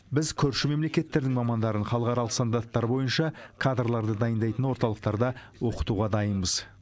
біз көрші мемлекеттердің мамандарын халықаралық стандарттар бойынша кадрларды дайындайтын орталықтарда оқытуға дайынбыз